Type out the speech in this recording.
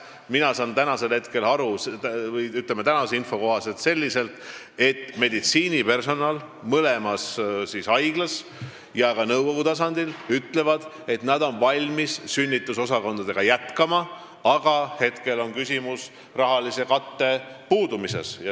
Mina saan tänase info kohaselt aru, et meditsiinipersonal mõlemas haiglas ja ka haiglate nõukogud ütlevad, et nad on valmis sünnitusosakondade tööd jätkama, aga küsimus on rahalise katte puudumises.